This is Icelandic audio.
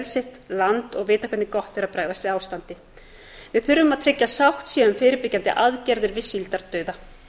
sitt land og vita hvernig gott er að bregðast við ástandi við þurfum að tryggja sátt síðan um fyrirbyggjandi aðgerðir við síldardauða